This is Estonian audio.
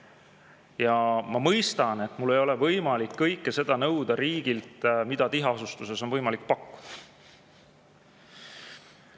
Ja ma mõistan, et mul ei ole võimalik nõuda riigilt kõike seda, mida tiheasustuses on võimalik pakkuda.